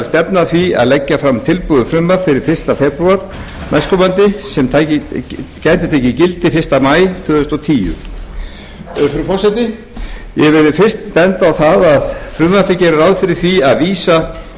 stefna að því að leggja fram tilbúið frumvarp fyrir fyrsta febrúar næstkomandi sem gæti tekið gildi fyrsta maí tvö þúsund og tíu frú forseti ég vil fyrst benda á að frumvarpið gerir ráð fyrir